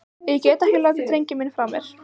Ég get ekki látið drenginn minn frá mér!